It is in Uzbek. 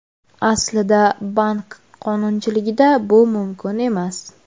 Aslida bank qonunchiligida bu mumkin emas.